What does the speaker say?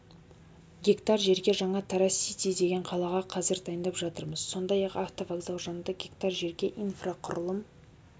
гектар жерге жаңа тараз сити деген қалаға қазір дайындап жатырмыз сондай-ақ автовокзал жанында гектар жерге инфрақұрылым